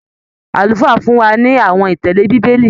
Àlùfáà fún wa ní àwọn ìtẹle bíbélì.